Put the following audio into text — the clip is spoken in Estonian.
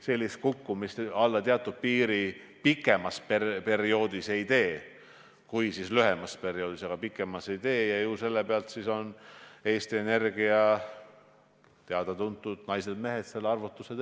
Need oleksid kõrgelt tasustatud ja pika perspektiiviga valdkonnas ega sunniks avama uusi kaevandusi, ühtlasi oleks riigi toetus erasektorile sedavõrd väike, et saaks toetada veel paljude teistegi töökohtade loomist.